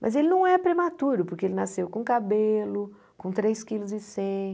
Mas ele não é prematuro, porque ele nasceu com cabelo, com três quilos e cem